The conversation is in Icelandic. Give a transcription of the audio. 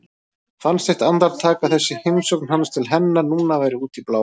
Fannst eitt andartak að þessi heimsókn hans til hennar núna væri út í bláinn.